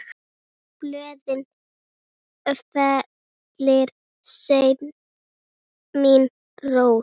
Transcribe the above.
Blöðin fellir senn mín rós.